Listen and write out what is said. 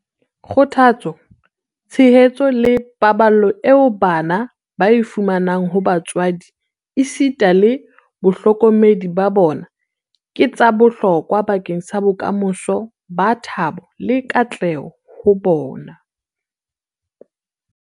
Kgothatso, tshehetso le paballo eo bana ba e fumanang ho batswadi esita le bahlokomedi ba bona ke tsa bohlokwa bakeng sa bokamoso ba thabo le katleho ho bona.